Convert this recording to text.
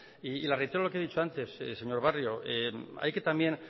y le reitero lo que he dicho antes señor barrio hay que también